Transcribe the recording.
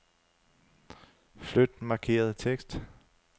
Flyt markerede tekst.